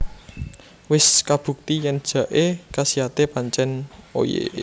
Wis kabukti yen jaé kasiate pancen oye